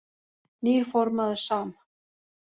Nýr formaður SAM